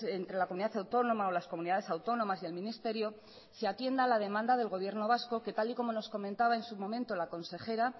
entre la comunidad autónoma o las comunidades autónomas y el ministerio se atienda la demanda del gobierno vasco que tal y como nos comentaba en su momento la consejera